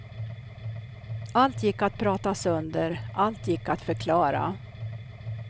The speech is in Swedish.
Allt gick att prata sönder, allt gick att förklara.